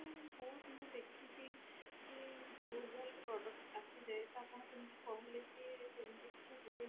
ମାନେ ବହୁତ ମୁଁ ଦେଖିଛି କି ଭୁଲ ଭଲ product ଆସିଯାଏ ତ ଆପଣ ଯେମତି କହିଲେ ଯେ ସେମତି କିଛି ହୁଏନି